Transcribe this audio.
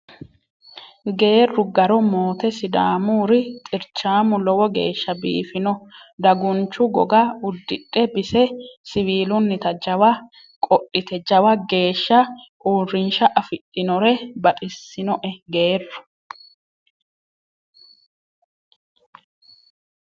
Geeru garo moote sidaamuri xirchamu lowo geeshsha biifino dagunchu goga udidhe bise siwiilunnitta jawa qodhite jawa geeshsha uurrinsha afidhinore baxisinoe geerru